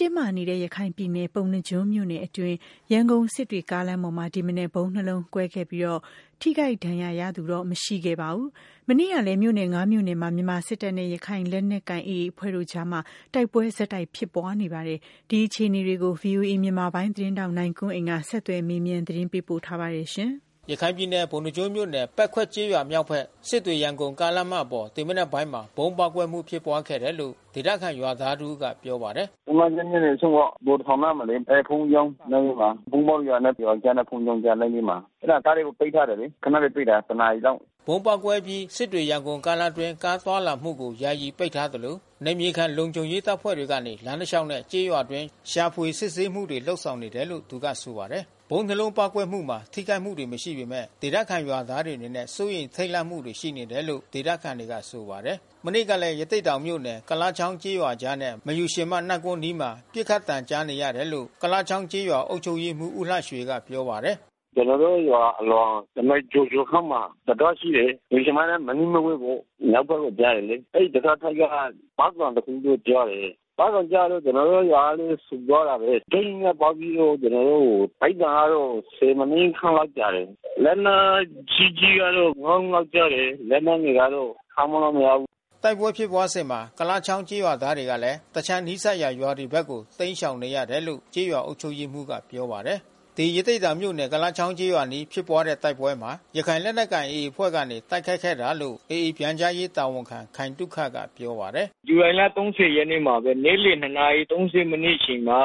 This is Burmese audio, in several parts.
တင်းမာနေဆဲရခိုင်ပြည်နယ်ပုဏ္ဏားကျွန်းမြို့နယ်အတွင်း ရန်ကုန်-စစ်တွေကားလမ်း ပေါ်မှာ ဒီမနက် ဗုံးနှစ်လုံးကွဲ ခဲ့ပြီး ထိခိုက်ဒဏ်ရာရမှုတော့မရှိခဲ့ပါဘူး။ မနေ့ကလဲ မြို့နယ် မြို့နယ်မှာ မြန်မာစစ်တပ်နဲ့ရခိုင်လက်နက်ကိုင် AAအဖွဲ့ တို့အကြား တိုက်ပွဲ ဆက်တိုက်ဖြစ်ပွား နပါတယ်။ ဒီအခြေအနေကို ဗွီအိုအေမြန်မာပိုင်းသတင်းထောက် နိုင်ကွန်းအိန်ကနေ ဆက်သွယ်မေးမြန်းသတင်းပေးပို့ထားပါတယ်။ ရခိုင်ပြည်နယ်၊ ပုဏ္ဏားကျွန်းမြို့နယ်၊ ပက်ခွက်ကျေးရွာ မြောက်ဘက် စစ်တွေ- ရန်ကုန်ကားလမ်းမပေါ် ဒီမနက်ပိုင်းမှာ ဗုံးပေါက်ကွဲ မှု ဖြစ်ပွားခဲ့တယ်လို့ ဒေသခံရွာသားတဦးက ပြောပါတယ်။ “ပုဏ္ဏားကျွန်းမြို့နယ် အဆုံးပေါ့။ ဗိုလ်တထောင်အနားမှာလေ ဘုန်းကြီးကျောင်း နားမှာ။ ဗုံးပေါက်တဲ့နေရာက ရွာကြား နဲ့ဘုန်းကြီးကျောင်းအကြား လမ်းဘေးမှာ။ အဲတာကားလမ်းကို ပိတ်ထားတယ်လေ။ ခဏလေးပိတ်တာ တနာရီလောက်။” ဗုံးပေါက်ကွဲအပြီး ရန်ကုန်-စစ်တွေကားလမ်းအတွင်း ကားသွားလာမှုကို ယာယီပိတ်ပင်ထားသလို နယ်မြေခံ လုံခြုံရေး တပ်ဖွဲ့တွေကနေ လမ်းတလျှောက်နဲ့ ကျေးရွာအတွင်းရှာဖွေ စစ်ဆေးမှုတွေ လုပ်ဆောင်နေတယ်လို့ သူကဆိုပါတယ်။ ဗုံး လုံးပေါက်ကွဲမှုမှာ ထိခိုက်မှုတွေ မရှိပေမဲ့ ဒေသခံရွာသားတွေ အနေနဲ့ စိုးရိမ်ထိတ်လန့်မှုတွေ ရှိနေတယ်လို့ ဒေသခံ တွေကဆိုပါတယ်။ မနေ့ကလည်း ရသေ့တောင်မြို့နယ် ကုလားချောင်းကျေးရွာအကြားနဲ့ မယူရှင်မနတ်ကွန်းအနီးမှာ ပစ်ခတ်သံကြား နေရတယ်လို့ ကုလားချောင်းကျေးရွာအုပ်ချုပ်ရေးမှူး ဦးလှရွှေကပြောပါတယ်။ “ကျွန်တော်တို့ရွာအလွန် တမိုင်ကျော်ကျော်ခန့်မှာ တံတားရှိတယ်။ မယူရှင်မနဲ့ မနီးမဝေးပေါ့။ မြောက်ဖက်ကို ကျတယ် လေ။ အဲဒီတံတားဖက်က ပေါက်သံတခုတော့ကြားတယ်။ ပေါက်သံကြားတော့ ကျွန်တော်တို့ ရွာကလဲ ဆူသွားတာဘဲ။ ဒိန်းကနဲပေါက်ပြီးတော့ ကျွန်တော်တို့ ပစ်သံကတော့ မိနစ်ခန့်ကြာတယ်။ လက်နက်ကြီးကြီးကတော့ ငါးလုံး လောက် ကြားတယ်။ လက်နက်ငယ်ကတော့ ခန့်မှန်းလို့မရဘူး။” တိုက်ပွဲဖြစ်ပွားစဉ်မှာ ကုလားချောင်းကျေးရွာသားတွေကလဲ တခြားနီးစပ်ရာ ရွာတွေဘက်ကို တိမ်းရှောင်သွားရတယ် လို့ ကျေးရွာအုပ်ချုပ်ရေးမှူးကပြောပါတယ်။ ဒီရသေ့တောင်မြို့နယ်ကုလားချောင်းရွာအနီးဖြစ်တဲ့ တိုက်ပွဲမှာ ရခိုင်လက်နက်ကိုင်AAအဖွဲ့ကနေ တိုက်ခိုက်ခဲ့တာ လို့AA ပြန်ကြားရေး တာဝန်ခံ ခိုင်သုခက ပြောပါတယ်။ “ဇူလိုင်လ ရက်နေ့မှာဘဲ နေ့လယ် နာရီ မိနစ်အချိန်မှာ ရ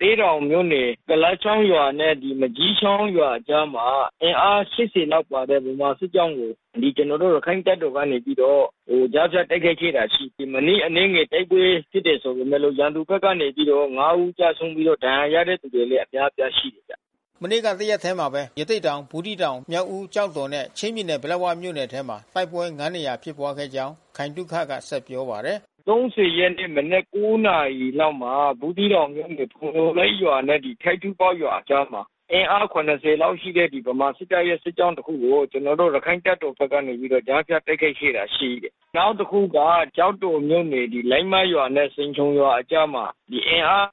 သေ့တောင်မြို့နယ် ကုလားချောင်းရွာနဲ့ မန်ကျီး ချောင်းရွာအကြားမှာ အင်အား လောက်ပါတဲ့ မြန်မာစစ်တပ်ရဲ့စစ်ကြောင်းကို ကျွန်တော်တို့ရခိုင့်တပ်တော် ကနေ ပြီးတော့ ကြားဖြတ် တိုက်ခိုက် ခဲ့တာရှိတယ်။ မိနစ်အနည်းငယ် တိုက်ပွဲဖြစ်ခဲ့တယ်ဆိုပေမဲ့လို့ ရန်သူဘက်ကနေပြီးတော့ ဦး ကျဆုံးပြီးတော့ ဒဏ်ရာရတဲ့သူတွေလဲ အများအပြားရှိတယ်။” မနေ့ကတရက်ထဲမှာဘဲ ရသေ့တောင် ၊ ဘူးသီးတောင် မြောက်ဦးနဲ့ ကျောက်တော်၊ ချင်းပြည်နယ်၊ ပလက်ဝမြို့နယ် ထဲမှာ တိုက်ပွဲ နေရာဖြစ်ပွားခဲ့ကြောင်း ခိုင်သုခက ဆက်ပြောပါတယ်။ ရက်နေ့ မနက် နာရီလောက်မှာ ဘူးသီးတောင်မြို့နယ် ဖုံညိုလိတ်ရွာ နဲ့ထိပ်တူးပေါက်ရွာ အကြားမှာ အင်အား လောက်ရှိတဲ့ ဗမာစစ်တပ်ရဲ့ စစ်ကြောင်းတခုကို ကျွန်တော်တို့ ရခိုင့်တပ်တော်ကနေ ကြားဖြတ်တိုက်ခိုက် ခဲ့တာ ရှိတယ်။ နောက်တခုက ကျောက်တော်မြို့နယ်၊ လိုင်းမတ်ရွာနဲ့ဆင်ခြုံရွာအကြားမှာ အင်အား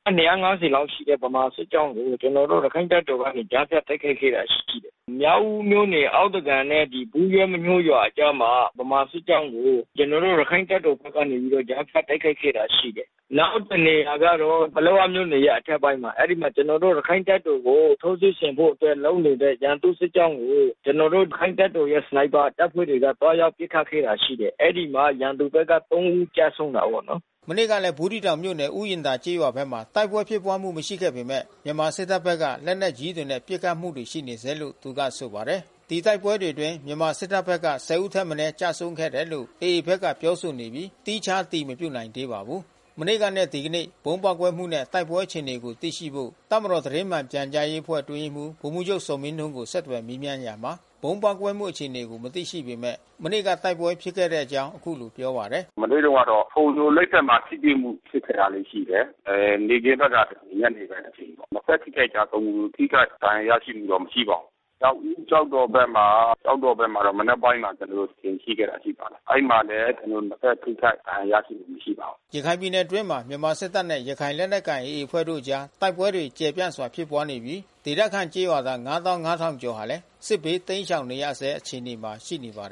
လောက်ရှိတဲ့ ဗမာ စစ်ကြောင်းကို ကျွန်တော်တို့ ရခိုင့်တပ်တော်ကနေ ကြားဖြတ်တိုက်ခိုက်ခဲ့တာ ရှိတယ်။ မြောက်ဦးမြို့နယ် အောက်သ ကန်နဲ့ဘူးရွက်မညှိုးရွာအကြားမှာ ဗမာစစ်ကြောင်းကို ကျွန်တော်တို့ရခိုင့်တပ်တော်ကနေ ကြားဖြတ်တိုက်ခိုက်ခဲ့တာ ရှိတယ်။ နောက်တနေရာကတော့ ပလက်ဝမြို့နယ်ရဲ့ အထက်ပိုင်းမှာ အဲဒီမှာ ကျွန်တော်တို့ ရခိုင့်တပ်တော်ကို ထိုးစစ် ဆင်ဖို့အတွက်လုပ်နေတဲ့ ရန်သူ့စစ်ကြောင်းကို ကျွန်တော်တို့ ရခိုင့်တပ်တော်ရဲ့ စနိုက်ပါတပ်ဖွဲ့တွေက သွားရောက်ပစ် ခတ်ခဲ့တာရှိတယ်။ အဲဒီမှာ ရန်သူဖက်က ဦးကျဆုံးတာပေါ့နော်။” မနေ့ကလဲ ဘူးသီးတောင်မြို့နယ်၊ ဥယာဉ်သာကျေးရွာဖက်မှာ တိုက်ပွဲဖြစ်ပွားမှု မရှိပေမဲ့ မြန်မာစစ်တပ်ဖက်က လက်နက်ကြီးတွေနဲ့ ပစ်ခတ်မှုတွေ ရှိနေဆဲလို့ သူကဆိုပါတယ်။ ဒီတိုက်ပွဲတွေအတွင်း မြန်မာစစ်တပ်ဖက်က ဦးထက်မနည်း ကျဆုံးခဲ့တယ်လို့ AA ဖက်က ပြောဆိုနေပြီး သီးခြားအတည် မပြုနိုင်သေးပါဘူး။ မနေ့ကနဲ့ ဒီကနေ့ ဗုံးပေါက်ကွဲမှု နဲ့ တိုက်ပွဲ ဖြစ်ပွားမှု အခြေအနေကိုသိရှိဖို့ တပ်မတော် သတင်းမှန်ပြန်ကြားရေး အဖွဲ့ အတွင်းရေးမှူး ဗိုလ်မှူးချုပ် ဇော်မင်းထွန်း ကို ဆက်သွယ် မေးမြန်းရာမှာ ဗုံးပေါက်ကွဲမှု အခြေအနေကို မသိရှိပေမဲ့ မနေ့ က တိုက်ပွဲဖြစ်ပွားခဲ့ကြောင်းအခုလိုပြောပါတယ်။ “မနေ့ကတော့ ဖုံညိုလိတ်ဖက်မှာ ထိတွေ့မှု ဖြစ်ခဲ့တာလေးရှိတယ်။ နေ့ခင်းပိုင်းကနေ ညနေပိုင်း အထိပေါ့။နှစ်ဖက် ထိခိုက်ကျဆုံးမှု ထိခိုက်ဒဏ်ရာရမှုတော့ မရှိပါဘူး။ မြောက်ဦး၊ ကျောက်တော် ဖက်မှာ တော့မနက်ပိုင်းကျွန်တော်တို့ တကြိမ် ဖြစ်ခဲ့တာရှိပါတယ်။ အဲဒီမှာလဲ ကျွန်တော်တို့ ထိခိုက် ဒဏ်ရာရမှု မရှိပါဘူး။” ရခိုင်ပြည်နယ်အတွင်းမှာ မြန်မာစစ်တပ်နဲ့ ရခိုင်လက်နက်ကိုင် AAအဖွဲ့ တို့အကြား တိုက်ပွဲတွေ ကျယ်ပြန့်စွာဖြစ်ပွားနေ ပြီး ဒေသခံကျေးရွာသား ကျော်ဟာလဲ စစ်ဘေးတိမ်းရှောင် နေရဆဲအခြေအနေမှာရှိနေပါတယ်